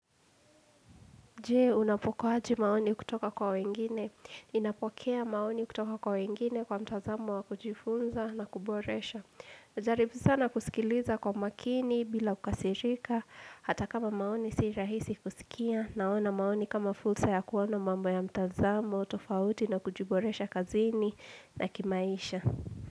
Je, unapokeaje maoni kutoka kwa wengine? Ninapokea maoni kutoka kwa wengine kwa mtazamo wa kujifunza na kuboresha. Najaribu sana kusikiliza kwa makini bila kukasirika, hata kama maoni si rahisi kusikia, naona maoni kama fursa ya kuona mambo ya mtazamo, tofauti na kujiboresha kazini na kimaisha.